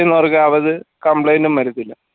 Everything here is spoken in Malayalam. ചെയ്യുന്നവർക്ക് അവത complaint ന്റും വരത്തില്ല